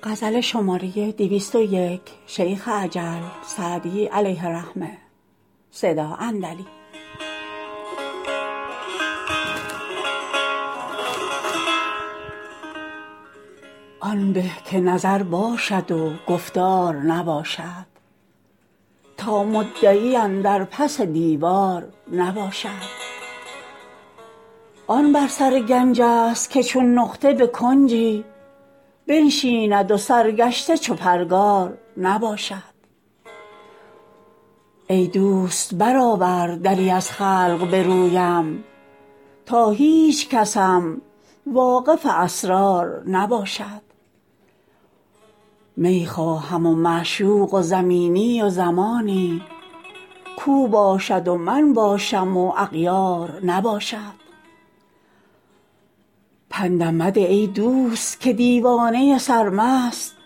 آن به که نظر باشد و گفتار نباشد تا مدعی اندر پس دیوار نباشد آن بر سر گنج ست که چون نقطه به کنجی بنشیند و سرگشته چو پرگار نباشد ای دوست برآور دری از خلق به رویم تا هیچکسم واقف اسرار نباشد می خواهم و معشوق و زمینی و زمانی کاو باشد و من باشم و اغیار نباشد پندم مده ای دوست که دیوانه سرمست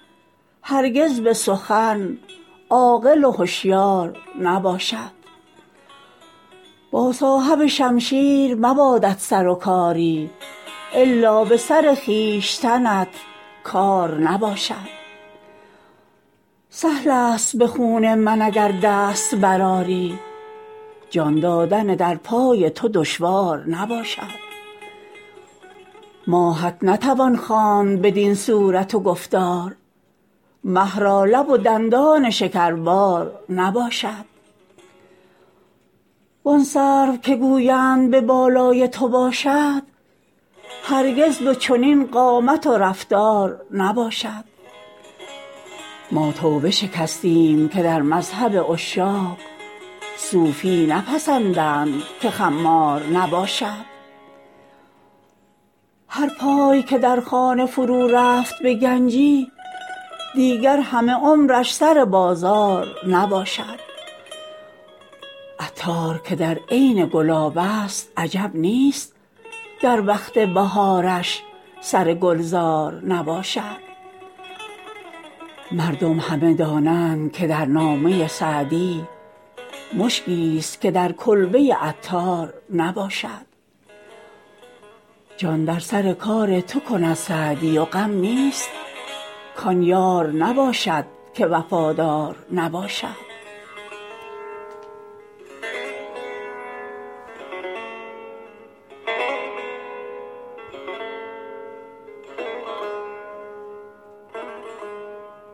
هرگز به سخن عاقل و هشیار نباشد با صاحب شمشیر مبادت سر و کاری الا به سر خویشتنت کار نباشد سهل است به خون من اگر دست برآری جان دادن در پای تو دشوار نباشد ماهت نتوان خواند بدین صورت و گفتار مه را لب و دندان شکربار نباشد وان سرو که گویند به بالای تو باشد هرگز به چنین قامت و رفتار نباشد ما توبه شکستیم که در مذهب عشاق صوفی نپسندند که خمار نباشد هر پای که در خانه فرو رفت به گنجی دیگر همه عمرش سر بازار نباشد عطار که در عین گلاب است عجب نیست گر وقت بهارش سر گلزار نباشد مردم همه دانند که در نامه سعدی مشکیست که در کلبه عطار نباشد جان در سر کار تو کند سعدی و غم نیست کان یار نباشد که وفادار نباشد